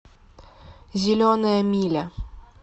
зеленая миля